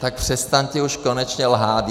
Tak přestaňte už konečně lhát!